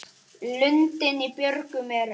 Lundinn í björgum er.